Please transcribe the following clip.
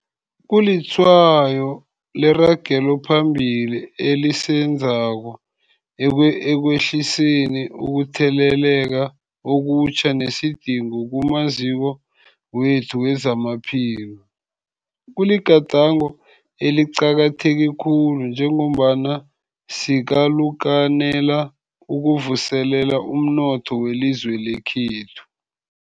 Kulitshwayo leragelo phambili esilenzako ekwehliseni ukutheleleka okutjha nesidingo kumaziko wethu wezamaphilo. Kuligadango eliqakatheke khulu njengombana sikalukanela ukuvuselela umnotho welizwe lekhethu.